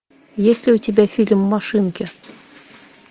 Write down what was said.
есть ли у тебя фильм машинки